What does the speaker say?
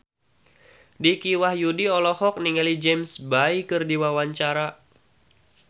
Dicky Wahyudi olohok ningali James Bay keur diwawancara